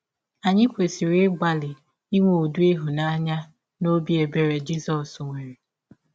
Anyị kwesịrị ịgbalị inwe ụdị ịhụnanya na ọbi ebere Jizọs nwere.